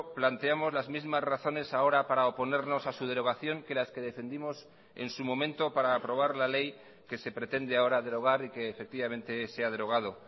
planteamos las mismas razones ahora para oponernos a su derogación que las que defendimos en su momento para aprobar la ley que se pretende ahora derogar y que efectivamente se ha derogado